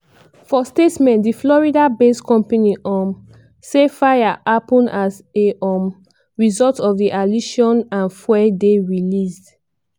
for statement di florida-based company um say: "fire happun as a um result of di allision and fuel dey released.